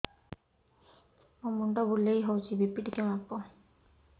ମୋ ମୁଣ୍ଡ ବୁଲେଇ ହଉଚି ବି.ପି ଟିକେ ମାପ